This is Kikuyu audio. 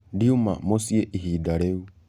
Ndĩũma mũcĩĩ ĩhĩda rĩũ.